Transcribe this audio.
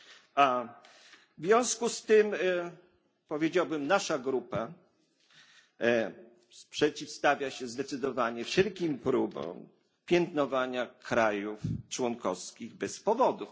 A związku z tym, powiedziałbym, nasza grupa przeciwstawia się zdecydowanie wszelkim próbom piętnowania państw członkowskich bez powodu.